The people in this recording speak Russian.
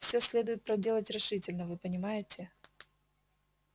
все следует проделать решительно вы понимаете